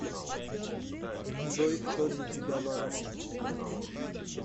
джой кто для тебя маруся